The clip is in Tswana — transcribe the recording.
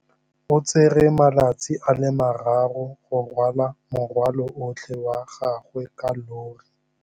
O tsere malatsi a le marraro go rwala morwalo otlhe wa gagwe ka llori.